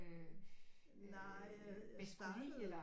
Øh bedst kunne lide eller